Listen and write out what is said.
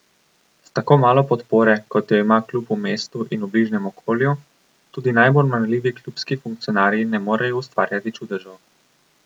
S tako malo podpore, kot jo ima klub v mestu in bližnjem okolju, tudi najbolj marljivi klubski funkcionarji ne morejo ustvarjati čudežev.